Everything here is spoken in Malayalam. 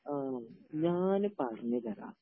ആണോ? ഞാന് .പറഞ്ഞലേടാ..